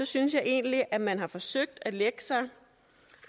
synes jeg egentlig at man har forsøgt at lægge sig